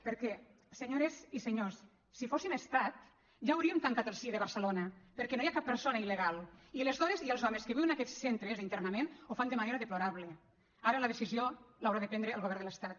perquè senyores i senyors si fóssim estat ja hauríem tancat el cie de barcelona perquè no hi ha cap persona il·legal i les dones i els homes que viuen en aquests centres d’internament ho fan de manera deplorable ara la decisió l’haurà de prendre el govern de l’estat